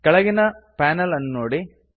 ಕೆಳಗಿನ ಪ್ಯಾನಲ್ ಅನ್ನು ನೋಡಿ